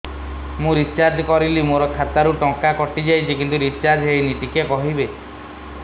ମୁ ରିଚାର୍ଜ କରିଲି ମୋର ଖାତା ରୁ ଟଙ୍କା କଟି ଯାଇଛି କିନ୍ତୁ ରିଚାର୍ଜ ହେଇନି ଟିକେ କହିବେ